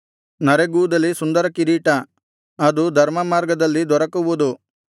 ನರೆಗೂದಲೇ ಸುಂದರ ಕಿರೀಟವು ಅದು ಧರ್ಮಮಾರ್ಗದಲ್ಲಿ ದೊರಕುವುದು